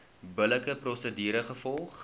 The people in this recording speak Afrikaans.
billike prosedure gevolg